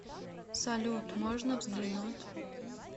салют можно взглянуть